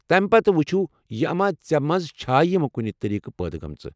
تمہِ پتہٕ وُچھو یہ اما ژے٘ منٛز چھا یم کُنِہ طریقہٕ پٲدٕ گَٲمٕژٕ۔